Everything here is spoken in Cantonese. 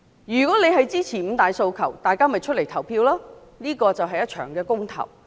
如果選民支持五大訴求，便要出來投票，這是一場公投。